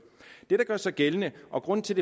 det der gør sig gældende og grunden til